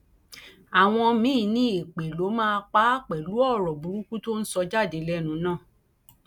àwọn míín ní èpè ló máa pa àpẹlú ọrọ burúkú tó ń sọ jáde lẹnu náà